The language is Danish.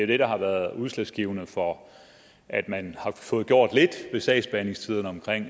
det der har været udslagsgivende for at man har fået gjort lidt ved sagsbehandlingstiderne